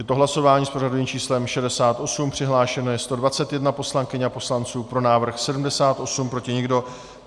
Je to hlasování s pořadovým číslem 68, přihlášeno je 121 poslankyň a poslanců, pro návrh 78, proti nikdo.